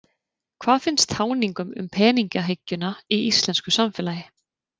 Hvað finnst táningum um peningahyggjuna í íslensku samfélagi?